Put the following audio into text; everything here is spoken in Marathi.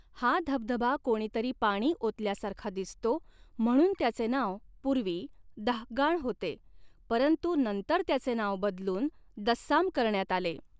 हा धबधबा कोणीतरी पाणी ओतल्यासारखा दिसतो म्हणून त्याचे नाव पूर्वी 'दाःगाण' होते परंतु नंतर त्याचे नाव बदलून 'दस्साम' करण्यात आले.